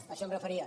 a això em referia